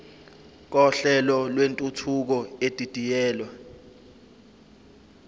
kohlelo lwentuthuko edidiyelwe